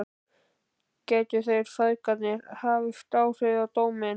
Gætu þeir feðgarnir haft áhrif á dóminn?